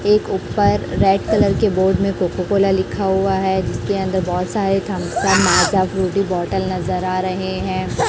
एक ऊपर red colour के बोर्ड में कोको कोला लिखा हुआ है जिसके अंदर बहोत सारे थम्सअप माजा फ्रूटी बॉटल नजर आ रहे हैं।